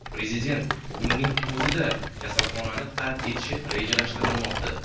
Prezident bugunning o‘zida kasalxonani tark etishi rejalashtirilmoqda.